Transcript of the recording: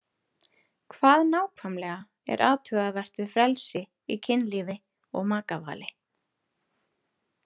Hvað nákvæmlega er athugavert við frelsi í kynlífi og makavali?